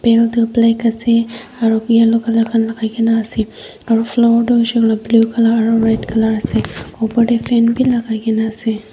belt to black ase aro bi yellow colour alak lagai kena ase aro floor tu hoishe koile blue colour aro red colour ase.